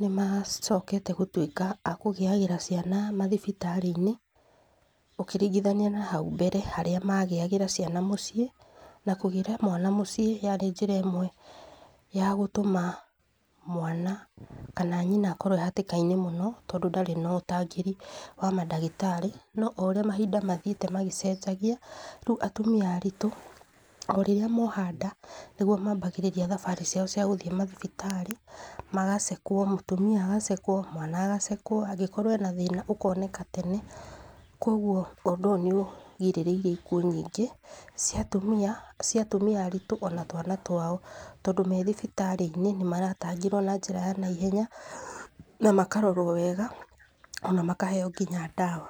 nĩmacokete gũtuĩka a kũgĩagĩra ciana mathibiraĩ-inĩ, ũkĩringithania na hau mbere harĩa magĩagĩra ciana mũciĩ, na kũgĩra mwana mũciĩ yarĩ njĩra ĩmwe ya gũtũma mwana kana nyina akorwo ee hatĩka-inĩ mũno, tondũ ndarĩ na ũtangĩri wa madagĩtarĩ no o ũrĩa mahinda mathiĩte magĩcenjagia, rĩu atumia aritũ o rĩrĩa moha nda nĩguo mambagĩrĩria thabarĩ ciao cia gũthĩ mathibitarĩ magacekwo, mũtumia agacekwo, mwana agacekwo, angĩkorwo ena thĩ-ĩna ũkoneka tene kioguo ũndũ ũyũ nĩũgirĩrĩirie ikuũ nyingĩ cia atumia, cia atumia aritũ ona twana twao tondũ me thibitarĩ nĩmaratangĩrwo na njĩra ya naihenya ona makarorwo wega ona makaheo nginya dawa.